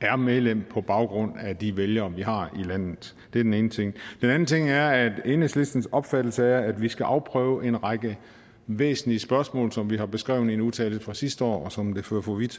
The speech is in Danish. er medlem på baggrund af de vælgere vi har i landet det er den ene ting den anden ting er at enhedslistens opfattelse er at vi skal afprøve en række væsentlige spørgsmål som vi har beskrevet i en eu tale fra sidste år som det fører for vidt